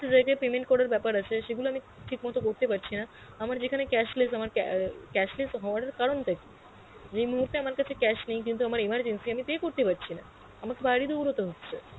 কত এ payment করার বেপার আছে সে গুলো আমি ঠিক মত করতে পারছি না আমার যেখানে cashless যেখানে ca~ cashless হাওয়ার কারণ টা কি? যেই মুহুর্তে আমার কাছে cash নেই কিন্তু আমার emergency আমি pay করতে পারছি না, আমাকে বাইরে দৌড়তে হচ্ছে